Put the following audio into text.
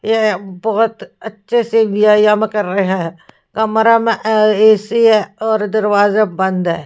ये बोहोत अच्छे से व्यायाम कर रहे हैं कमरा में ए_सी है और दरवाजा बंद है।